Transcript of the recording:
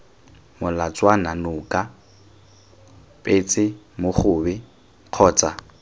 molatswana noka petse mogobe kgotsa